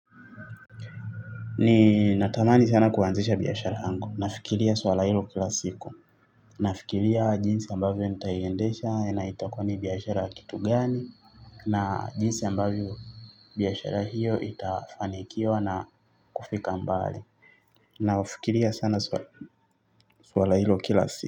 Ninatamani sana kuanzisha biashara yangu. Nafikiria swala hilo kila siku. Nafikiria jinsi ambavyo nitaiendesha na itakuwa ni biashara ya kitu gani. Na jinsi ambavyo biashara hiyo itafanikiwa na kufika mbali naufikiria sana swala hilo kila siku.